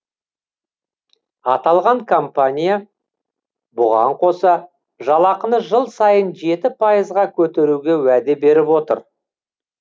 аталған компания бұған қоса жалақыны жыл сайын жеті пайызға көтеруге уәде беріп отыр